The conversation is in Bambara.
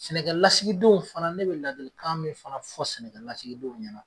Sɛnɛkɛlasigidenw fana ne bɛ ladilikan min fana fɔ sɛnɛkɛlasigidenw ɲɛna